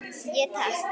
Ég: Takk.